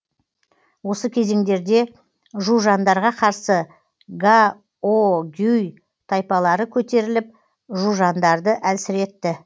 осы кезеңдерде жужандарға қарсы гаогюй тайпалары көтеріліп жужандарды әлсіретті